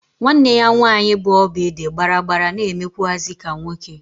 Nwa nne ya nwanyị bụ oby dị gbaragbara na-emekwụazị ka nwoke.